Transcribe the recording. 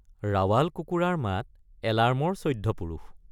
ৰাৱাল কুকুৰাৰ মাত এলাৰ্মৰ চৈধ্য পুৰুষ।